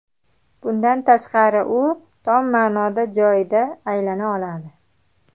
Bundan tashqari, u tom ma’noda joyida aylana oladi.